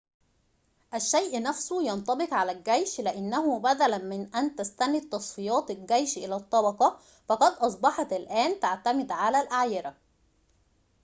الشيء نفسه ينطبق على الجيش لأنه بدلاً من أن تستند تصنيفات الجيش إلى الطبقة فقد أصبحت الآن تعتمد على الأعيرة